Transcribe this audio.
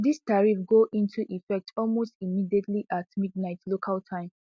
dis tariff go into effect almost immediately at midnight local time